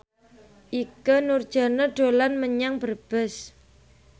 Ikke Nurjanah dolan menyang Brebes